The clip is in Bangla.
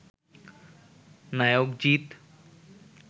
নায়ক জিত